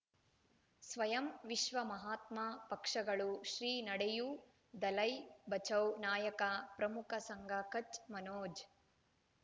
ಸ್ವಯಂ ವಿಶ್ವ ಮಹಾತ್ಮ ಪಕ್ಷಗಳು ಶ್ರೀ ನಡೆಯೂ ದಲೈ ಬಚೌ ನಾಯಕ ಪ್ರಮುಖ ಸಂಘ ಕಚ್ ಮನೋಜ್